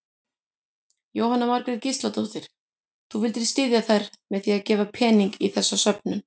Jóhanna Margrét Gísladóttir: Þú vildir styðja þær með að gefa pening í þessa söfnun?